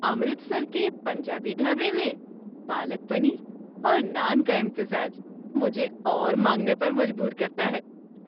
امرتسر کے پنجابی ڈھابے میں پالک پنیر اور نان کا امتزاج مجھے اور مانگنے پر مجبور کرتا ہے۔